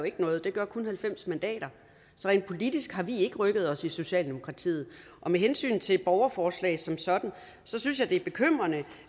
noget det gør kun halvfems mandater så rent politisk har vi ikke rykket os i socialdemokratiet og med hensyn til borgerforslag som sådan så synes jeg det er bekymrende